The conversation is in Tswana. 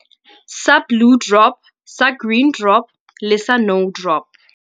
Sa Blue Drop, sa Green Drop le sa No Drop.